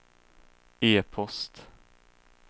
e-post